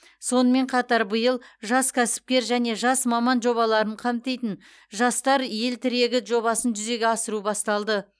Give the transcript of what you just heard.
сонымен қатар биыл жас кәсіпкер және жас маман жобаларын қамтитын жастар ел тірегі жобасын жүзеге асыру басталды